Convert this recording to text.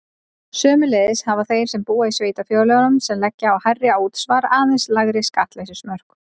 Sömuleiðis hafa þeir sem búa í sveitarfélögum sem leggja á hærra útsvar aðeins lægri skattleysismörk.